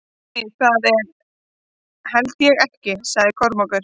Nei, það held ég ekki, svaraði Kormákur.